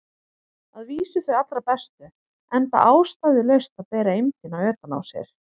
Að vísu þau allra bestu, enda ástæðulaust að bera eymdina utan á sér.